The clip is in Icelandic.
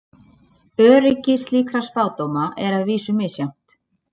Öryggi slíkra spádóma er að vísu misjafnt.